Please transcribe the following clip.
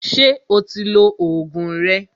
Ṣé o ti lo Ògùn rẹ?